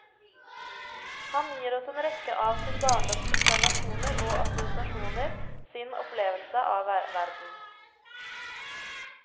Han gir oss en rekke av sin barndoms observasjoner og assosiasjoner, sin opplevelse av verden.